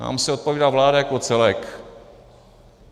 Nám se odpovídá vláda jako celek.